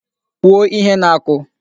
Kwuo ihe na-akụ!